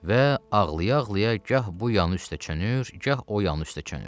Və ağlaya-ağlaya gah bu yanı üstə çönür, gah o yanı üstə çönür.